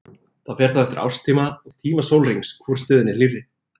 Það fer þá eftir árstíma og tíma sólarhrings hvor stöðin er hlýrri.